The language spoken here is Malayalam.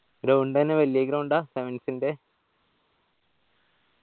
ground എങ്ങനെ വെല്യ ground ആ? sevens ന്റെ?